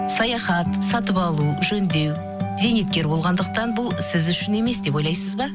саяхат сатып алу жөндеу зейнеткер болғандықтан бұл сіз үшін емес деп ойлайсыз ба